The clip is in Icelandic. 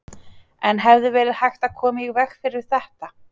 En hefði verið hægt að koma í veg fyrir þetta?